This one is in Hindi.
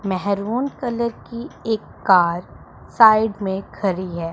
मेहरून कलर की एक कार साइड में खड़ी है।